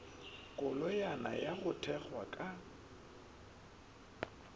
koloyana ya go thwethwa ka